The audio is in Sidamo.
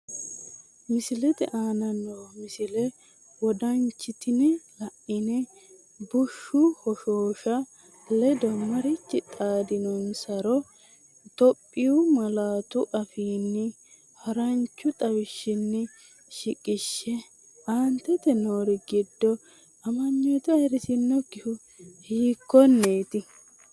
Misile aana noo misile wodanchitine la’ine bushshu hoshoosha ledo mariachi xaadisannonsaro Itophiyu malaatu afiinni haran chu xawishshinni shiqishshe, Aante noori giddo amanyoote ayirrisinokkihu hiikkonneeti?